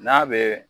N'a bɛ